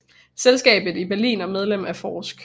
Selskab i Berlin og Medlem af forsk